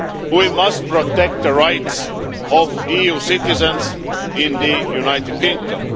We must protect the rights of EU citizens in the United Kingdom.